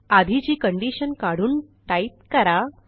आधीची कंडिशन काढून टाईप करा